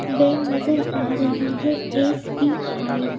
bank नजर आ रही है एस _बी _आई --